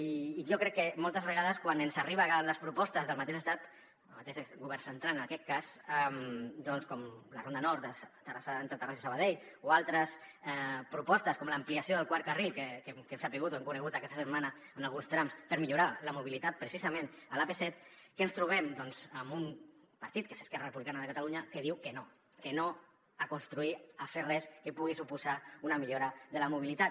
i jo crec que moltes vegades quan ens arriben les propostes del mateix estat del mateix govern central en aquest cas doncs com la ronda nord entre terrassa i sabadell o altres propostes com l’ampliació del quart carril que ho hem sabut o ho hem conegut aquesta setmana en alguns trams per millorar la mobilitat precisament a l’ap set què ens trobem doncs amb un partit que és esquerra republicana de catalunya que diu que no que no a construir a fer res que pugui suposar una millora de la mobilitat